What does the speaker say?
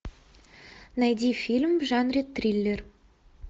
найди фильм в жанре триллер